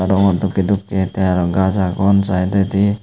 rong or dokke dokke te araw gaz agon sidedi.